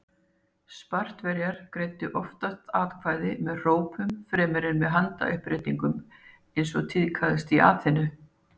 Spartverjar greiddu oftast atkvæði með hrópum fremur en með handauppréttingum eins og tíðkaðist í Aþenu.